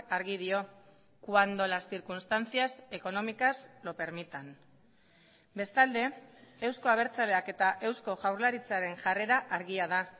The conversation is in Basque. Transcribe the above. argi dio cuando las circunstancias económicas lo permitan bestalde euzko abertzaleak eta eusko jaurlaritzaren jarrera argia da